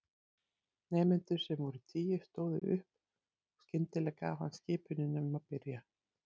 Nemendur, sem voru tíu, stóðu upp og skyndilega gaf hann skipunina um að byrja.